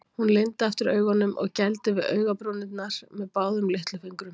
Hún lygndi aftur augunum og gældi við augabrúnirnar með báðum litlufingrum.